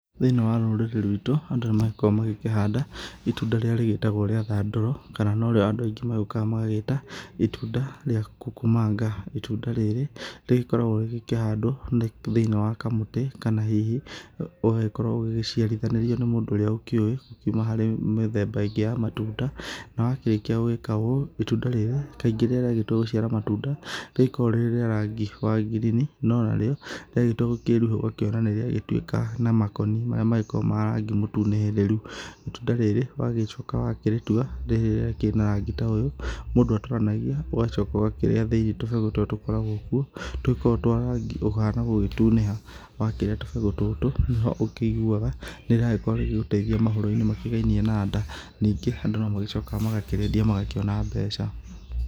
Thĩiniĩ wa rũrĩrĩ rwitu andũ nĩ magĩkoragwo makĩhanda itunda rĩrĩa rĩgĩtagwo rĩa thandũro kana no rĩo andũ aingĩ magĩkoragwo magĩgĩta itunda rĩa kukumanga. Itunda rĩrĩ rĩgĩkoragwo rĩgĩkĩhandwo nĩ thĩiniĩ wa kamũtĩ kana hihi ũgagĩkorwo ũgĩgĩciarithanĩrio nĩ mũndũ ũrĩa ũkĩũwĩ kuma harĩ mĩthemba ĩngĩ ya matunda. Na wakĩrĩkia gũgĩka ũũ itunda rĩrĩ kaingĩ rĩrĩa rĩagĩtua gũgĩciara matunda, nĩ rĩkoragwo rĩrĩ rĩa rangi wa green. No narĩo rĩagĩtua gũkĩruha ũgakĩona nĩ rĩagĩtuĩka rĩa kana nĩ rĩagĩtuĩka na makoni marĩa magĩkoragwo ma rangi mũtune rĩrĩru. Itunda rĩrĩ wagĩcoka wakĩrĩtua rĩrĩa rĩkĩrĩ na rangi ta ũyũ, mũndũ agĩatũranagia ũgacoka ũgakĩrĩa thĩinĩ tũbegũ tũrĩa tũkoragwo kuo, tũgĩkoragwo twa rangi ũihana gũgĩtunĩha. Wakĩrĩa tũbegũ tũtũ nĩho ũkĩiguaga nĩ rĩrakorwo rĩgĩgũteithia mohoro-inĩ makĩgainie na nda. Ningĩ andũ no magĩcokaga magakĩrĩendia magakĩona mbeca.